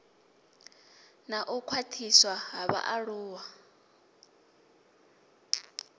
na u khwaṱhiswa ha vhaaluwa